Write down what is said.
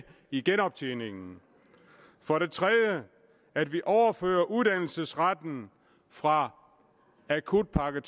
i genoptjeningen for det tredje at vi overfører uddannelsesretten fra akutpakke